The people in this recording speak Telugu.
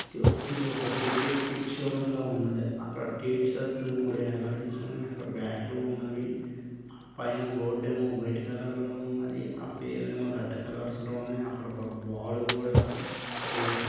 ఇది ఒక క్రికెట్ కిట్ షో రూమ్ లా ఉన్నది. అక్కడ మూడు ఎలాడదిసి ఉన్నాయి . అక్కడ బాటలు ఉన్నవి. పైన బోర్డు ఏమో వైట్ కలర్ లో ఉన్నది. ఆ పేర్లు ఏమో రెడ్ కలర్స్ లో ఉన్నవి. అక్కడ ఒక బాల్ కూడా వేసి--